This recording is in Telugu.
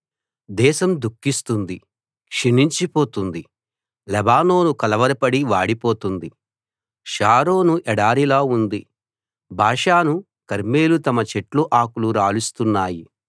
దేశం దుఖిస్తుంది క్షీణించి పోతుంది లెబానోను కలవరపడి వాడిపోతుంది షారోను ఎడారిలా ఉంది బాషాను కర్మెలు తమ చెట్ల ఆకులు రాలుస్తున్నాయి